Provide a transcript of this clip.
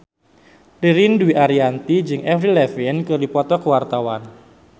Ririn Dwi Ariyanti jeung Avril Lavigne keur dipoto ku wartawan